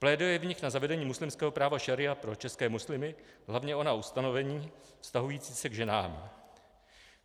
Pléduje v nich na zavedení muslimského práva šaría pro české muslimy, hlavně ona ustanovení vztahující se k ženám.